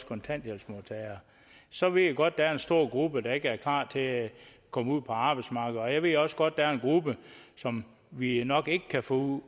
kontanthjælpsmodtagere så ved jeg godt at der er en stor gruppe der ikke er klar til at komme ud på arbejdsmarkedet og jeg ved også godt at der er en gruppe som vi nok ikke kan få